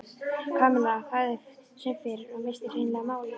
Kamilla þagði sem fyrr og missti hreinlega málið.